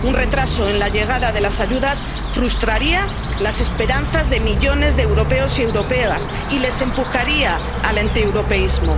Un retraso en la llegada de las ayudas frustraría las esperanzas de millones de europeos y europeas y les empujaría al antieuropeísmo.